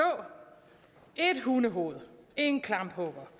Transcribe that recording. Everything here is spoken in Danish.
et hundehoved en klamphugger